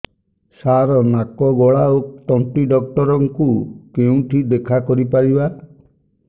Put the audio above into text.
ସାର ନାକ ଗଳା ଓ ତଣ୍ଟି ଡକ୍ଟର ଙ୍କୁ କେଉଁଠି ଦେଖା କରିପାରିବା